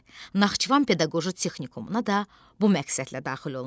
Naxçıvan pedaqoji texnikumuna da bu məqsədlə daxil olmuşdu.